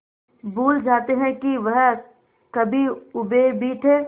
भूल जाते हैं कि वह कभी ऊबे भी थे